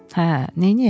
Hə, neyniyək?